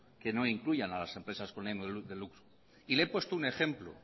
que no incluyan a las empresas con ánimo de lucro y le he puesto un ejemplo